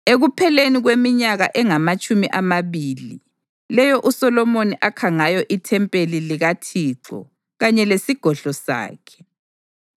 Ekupheleni kweminyaka engamatshumi amabili, leyo uSolomoni akha ngayo ithempeli likaThixo kanye lesigodlo sakhe,